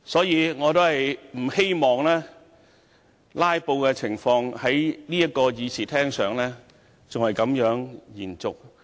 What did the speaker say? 因此，我希望"拉布"的情況不要再在這個議事廳延續下去。